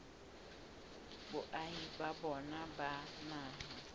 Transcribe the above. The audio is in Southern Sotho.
boahi ba bona ba naha